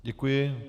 Děkuji.